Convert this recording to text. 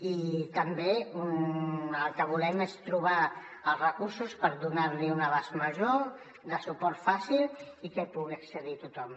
i també el que volem és trobar els recursos per donar li un abast major de suport fàcil i que hi pugui accedir tothom